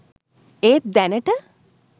ඒත් දැනට